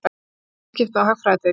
Viðskipta- og hagfræðideild.